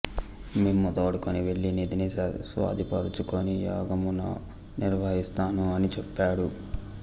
మిమ్ము తోడ్కొని వెళ్ళి నిధిని స్వాధీనపరచుకుని యాగమును నిర్వహిస్తాను అని చెప్పాడు